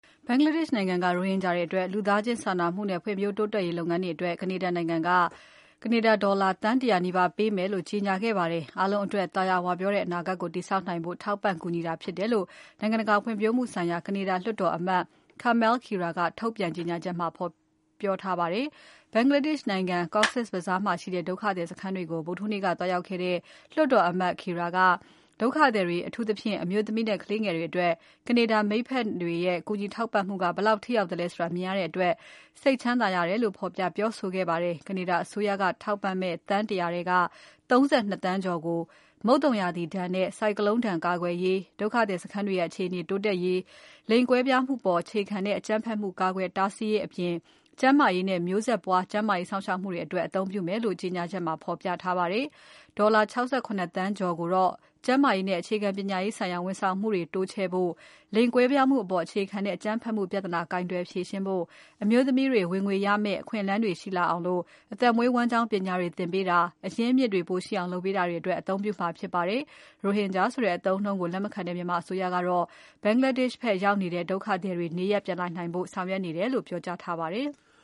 ဘင်္ဂလားဒေ့ရှ် နိုင်ငံက ရိုဟင်ဂျာတွေအတွက် လူသားချင်းစာနာမှုနဲ့ ဖွံ့ဖြိုးတိုးတက်ရေးလုပ်ငန်းတွေအတွက် ကနေဒါနိုင်ငံက ကနေဒါ ဒေါ်လာသန်း ၁၀၀ နီးပါးပေးမယ်လို့ ကြေညာခဲ့ပါတယ်။ အားလုံးအတွက် သာယာဝပြောတဲ့ အနာဂတ်ကို တည်ဆောက်နိုင်ဖို့ ထောက်ပံ့ကူညီတာဖြစ်တယ်လို့ နိုင်ငံတကာဖွံ့ဖြိုးမှုဆိုင်ရာ ကနေဒါလွှတ်တော်အမတ် Kamal Khera က ထုတ်ပြန်ကြေညာချက်မှာ ဖော်ပြထားပါတယ်။ ဘင်္ဂလားဒေ့ရှ် နိုင်ငံ Cox’s Bazar မှာရှိတဲ့ ဒုက္ခသည်စခန်းတွေကို ဗုဒ္ဓဟူးနေ့က သွားရောက်ခဲ့တဲ့ လွှတ်တော်အမတ် Khera ကဒုက္ခသည်တွေ အထူးသဖြင့် အမျိုးသမီးနဲ့ ကလေးငယ်တွေအတွက် ကနေဒါမိတ်ဖက်တွေရဲ့ ကူညီထောက်ပံ့မှုတွေက ဘယ်လောက်ထိရောက်သလဲဆိုတာ မြင်ရတဲ့အတွက် စိတ်ကြည်နူးရတယ်လို့ ဖော်ပြပြောဆိုခဲ့ပါတယ်။ ကနေဒါအစိုးရက ထောက်ပံ့မယ့် သန်း ၁၀၀ ထဲက ၃၂ သန်းကျော်ကို မုတ်သုံရာသီဒဏ်နဲ့ ဆိုင်ကလုန်းဒဏ်ကာကွယ်ရေး၊ ဒုက္ခသည်စခန်းတွေရဲ့ အခြေအနေတိုးတက်ရေး၊ လိင်ကွဲပြားမှုအပေါ် အခြေခံတဲ့ အကြမ်းဖက်မှုတွေ ကာကွယ်တားဆီးရေးအပြင်၊ ကျန်းမာရေးနဲ့ မျိုးဆက်ပွား ကျန်းမာရေးစောင့်ရှောက်မှုတွေအတွက် အသုံးပြုမယ်လို့ ကြေညာချက်ထဲမှာ ဖော်ပြထားပါတယ်။ ဒေါ်လာ ၆၇ သန်းကျော်ကိုတော့ ကျန်းမာရေးနဲ့ အခြေခံပညာရေးဆိုင်ရာ ဝန်ဆောင်မှုတွေ တိုးချဲ့ဖို့၊ လိင်ကွဲပြားမှုအပေါ် အခြေခံတဲ့ အကြမ်းဖက်မှုပြဿနာ ကိုင်တွယ်ဖြေရှင်းဖို့၊ အမျိုးသမီးတွေ ဝင်ငွေရမယ့် အခွင့်အလမ်းတွေ ရှိလာအောင် အသက်မွေးဝမ်းကျောင်းပညာတွေသင်ပေးတာ၊ အရင်းအမြစ်တွေ ပိုရှိအောင် လုပ်ပေးတာတွေအတွက် အသုံးပြုမှာဖြစ်ပါတယ်။ ရိုဟင်ဂျာဆိုတဲ့ အသုံးအနှုန်းကို လက်မခံတဲ့မြန်မာအစိုးရကတော့ ဘင်္ဂလားဒေ့ရှ် ဖက်ရောက်နေတဲ့ ဒုက္ခသည်တွေ နေရပ်ပြန်လာနိုင်ဖို့ ဆောင်ရွက်နေတယ်လို့ ပြောကြားထားပါတယ်။